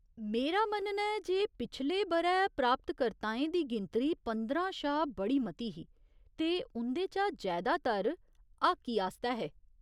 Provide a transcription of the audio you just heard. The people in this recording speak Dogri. मेरा मन्नना ऐ जे पिछले ब'रै हासलकर्ताएं दी गिनतरी पंदरां शा बड़ी मती ही ते उं'दे चा जैदातर हाकी आस्तै हे।